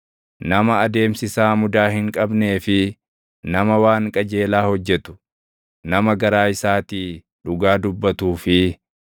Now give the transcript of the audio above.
Nama adeemsi isaa mudaa hin qabnee fi nama waan qajeelaa hojjetu, nama garaa isaatii dhugaa dubbatuu fi